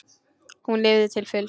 Hún lifði til fulls.